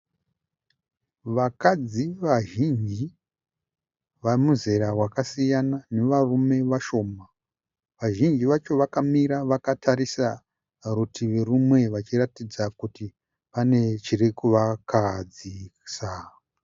Vakadzi vazhinji vemuzera wakasiyana nevarume vashoma. Vazhinji vacho vakamira vakatarisa rutivi rumwe vachiratidza kuti pane chiri kuvakahadzisa.